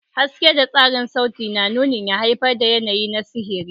Haske da tasirin sauti na nunin ya haifar da yanayi na sihiri.